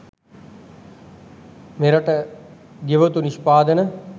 මෙරට ගෙවතු නිෂ්පාදන